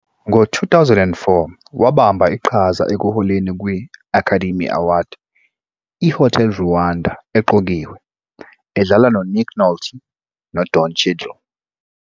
Ngo-2004, wabamba iqhaza ekuholeni kwi- Academy Award - i - "Hotel Rwanda" eqokiwe, edlala noNick Nolte noDon Cheadle.